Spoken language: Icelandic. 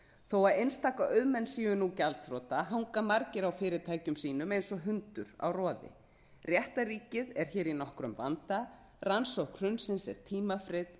þó einstaka auðmenn séu nú gjaldþrota hanga margir á fyrirtækjum sínu eins og hundur á roði réttarríkið er hér í nokkrum vanda rannsókn hrunsins er tímafrek